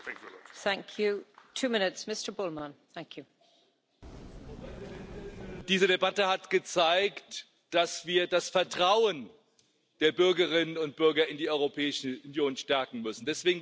Frau Präsidentin! Diese Debatte hat gezeigt, dass wir das Vertrauen der Bürgerinnen und Bürger in die Europäische Union stärken müssen.